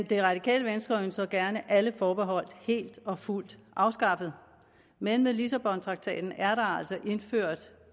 det radikale venstre ønsker gerne alle forbehold helt og fuldt afskaffet men med lissabontraktaten er der altså indført